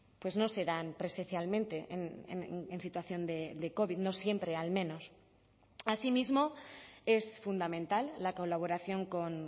pues no se dan presencialmente en situación de covid no siempre al menos asimismo es fundamental la colaboración con